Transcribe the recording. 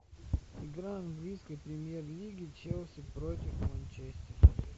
игра английской премьер лиги челси против манчестера